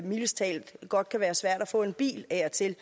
mildest talt godt kan være svært at få en bil af og til